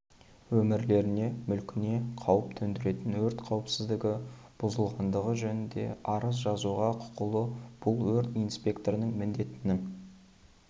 өмірлеріне мүлкіне қауіп төндіретін өрт қауіпсіздігі бұзылғандығы жөнінде арыз жазуға құқылы бұл өрт инспекторының міндетінің